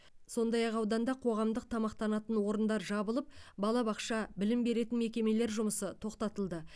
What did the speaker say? сондай ақ ауданда қоғамдық тамақтанатын орындар жабылып балабақша білім беретін мекемелер жұмысы тоқтатылды